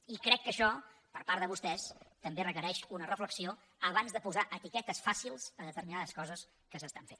i crec que això per part de vostès també requereix una reflexió abans de posar etiquetes fàcils a determinades coses que es fan